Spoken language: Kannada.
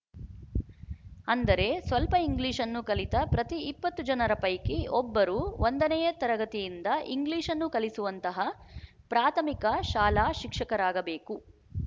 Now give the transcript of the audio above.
ಅಂದರೆ ಸ್ವಲ್ಪ ಇಂಗ್ಲಿಶ್‌ನ್ನು ಕಲಿತ ಪ್ರತಿ ಇಪ್ಪತ್ತು ಜನರ ಪೈಕಿ ಒಬ್ಬರು ಒಂದನೆಯ ತರಗತಿಯಿಂದ ಇಂಗ್ಲಿಶ್‌ನ್ನು ಕಲಿಸುವಂತಹ ಪ್ರಾಥಮಿಕ ಶಾಲಾ ಶಿಕ್ಷಕರಾಗಬೇಕು